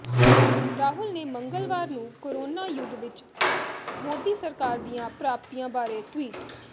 ਰਾਹੁਲ ਨੇ ਮੰਗਲਵਾਰ ਨੂੰ ਕੋਰੋਨਾ ਯੁੱਗ ਵਿੱਚ ਮੋਦੀ ਸਰਕਾਰ ਦੀਆਂ ਪ੍ਰਾਪਤੀਆਂ ਬਾਰੇ ਟਵੀਟ